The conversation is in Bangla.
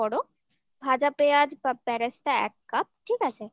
দুটো বড় ভাজা পেঁয়াজ বা বেরেস্তা এক কাপ ঠিক আছে